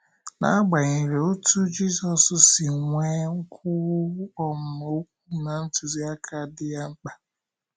N’agbanyeghị otú Jizọs si nwee nkwuwu um okwu na ntụziaka dị ya mkpa.